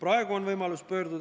Jüri Jaanson, palun!